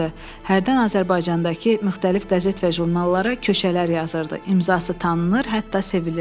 Hərdən Azərbaycandakı müxtəlif qəzet və jurnallara köşələr yazırdı, imzası tanınır, hətta sevilirdi.